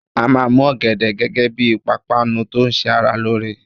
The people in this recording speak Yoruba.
A máa mú ọ̀gẹ̀dẹ̀ gẹ́gẹ́ bí ìpápánu tó ṣẹ ara lóore.